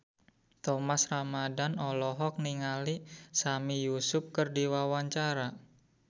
Thomas Ramdhan olohok ningali Sami Yusuf keur diwawancara